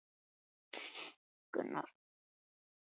Þorsteinn var kallaður fyrir háskólaráð og veitt munnleg ofanígjöf.